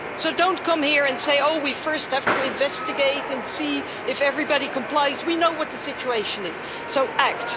So don't come here and say oh, we first have to investigate and see if everybody complies' we know what the situation is, so act.